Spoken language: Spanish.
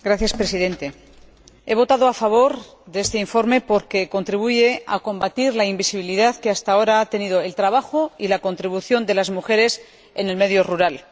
Señor Presidente, he votado a favor de este informe porque contribuye a combatir la invisibilidad que, hasta ahora, han tenido el trabajo y la contribución de las mujeres en el medio rural.